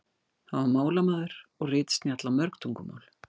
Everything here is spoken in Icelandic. Hann var málamaður og ritsnjall á mörg tungumál.